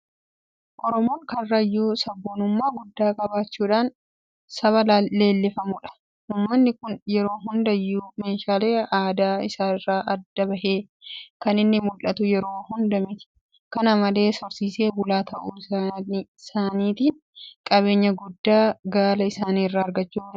Oromoon karrayyuu sabboonummaa guddaa qabaachuudhaan saba leellifamudha. Uummanni kun yeroo hundayyuu meeshaalee aadaa isaa irraa adda bahee kan inni mul'atu yeroo hunda miti. Kana malees horsiisee bulaa ta'uu saaniitiin qabeenya guddaa Gaala isaanii irraa argachuu danda'aniiru.